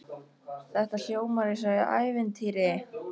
Þetta hljómar eins og í ævintýri.